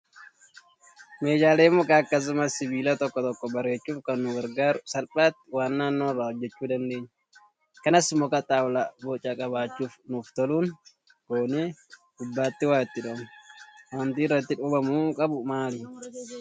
Meeshaalee mukaa akkasumas sibiilaa tokko tokko bareechuuf kan nu gargaaru salphaatti waan naannoo irraa hojjachuu dandeenya. Kanas muka xaawulaa boca qabachuuf nuuf toluun goonee gubbaatti waa itti dhoobna. Wanti irratti dhoobamuu qabu maali?